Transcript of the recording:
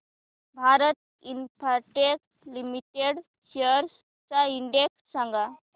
Bharti Infratel Limited shares चा index सांगा